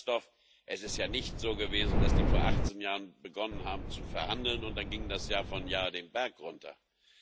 Und, Graf Lambsdorff, es ist ja nicht so gewesen, dass die vor 18 Jahren begonnen haben zu verhandeln und es dann das Jahr für Jahr den Berg hinunterging.